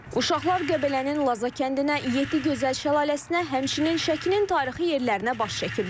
Uşaqlar Qəbələnin Laza kəndinə, Yeddi Gözəl şəlaləsinə, həmçinin Şəkinin tarixi yerlərinə baş çəkiblər.